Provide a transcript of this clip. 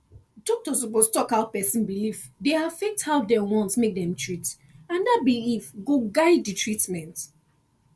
doctor suppose talk how person belief dey affect how dem want make dem treat and that belief go guide the treatment